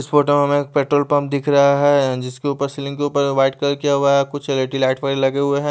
इस फोटो में हमें एक पेट्रोल पंप दिख रहा है जिसके ऊपर सीलिंग के ऊपर व्हाइट कलर किया हुवा है कुछ एल_ई_डी लाइट वाले लगे हुए हैं।